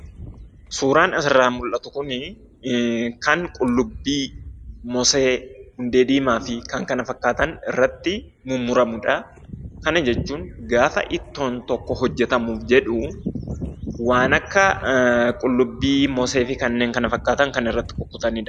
Suuraan asirraa mul'atuu kunii, kan qullubbii, mosee, hundee diimaafii kan kana fakkaatan irrattii mummuramuudha. Kana jechuun gaafa ittoon tokko hojjatamuuf jedhu waan akka qullubbii ,moseefi kannen kana fakkaatan kan irratti kukkutaniidha.